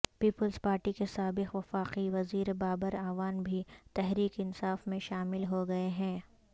Peoples Party کے سابق وفاقی وزیر بابر اعوان بھی تحریک انصاف میں شامل ہوگئے ہیں